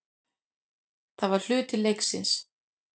Það var hluti leiksins.